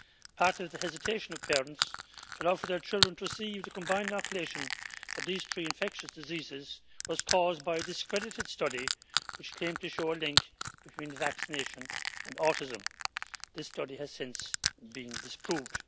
Part of the hesitation of parents to allow their children to receive the combined vaccination for these three infectious diseases was caused by a discredited study which claimed to show a link between vaccination and autism. This study has since been disproved.